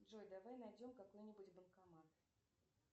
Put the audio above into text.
джой давай найдем какой нибудь банкомат